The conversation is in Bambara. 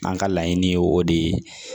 An ka laɲini ye o de ye